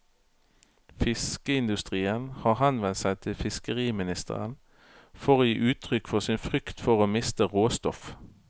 Fiskeindustrien har henvendt seg til fiskeriministeren for å gi uttrykk for sin frykt for å miste råstoff.